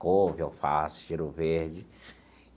couve, alface, cheiro verde.